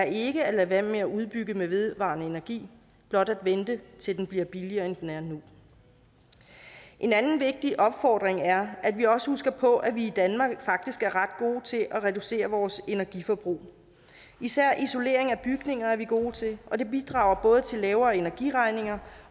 ikke at lade være med at udbygge med vedvarende energi blot at vente til den bliver billigere end den er nu en anden vigtig opfordring er at vi også husker på at vi i danmark faktisk er ret gode til at reducere vores energiforbrug især isolering af bygninger er vi gode til og det bidrager både til lavere energiregninger